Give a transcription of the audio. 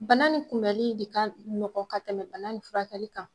Bana ni kunbɛli de ka nɔgɔ ka tɛmɛ bana ni furakɛli kan.